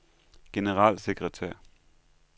generalsekretær